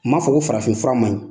N man fɔ ko farafin fura man ɲi.